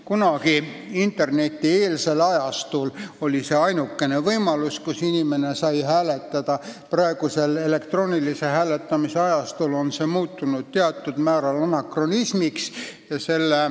Kunagi internetieelsel ajastul oli see ainus koht, kus inimene sai hääletada, praegusel elektroonilise hääletamise ajastul on see muutunud suurel määral anakronismiks.